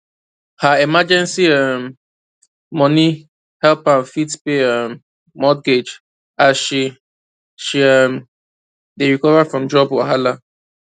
her emergency um money help am fit pay um mortgage as she she um dey recover from job wahala